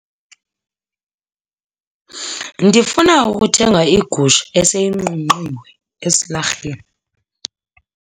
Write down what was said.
Ndifuna ukuthenga igusha eseyinqunqiwe esilarheni.